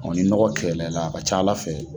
O ni nɔgɔ kɛlɛla i la a ka c'Ala fɛ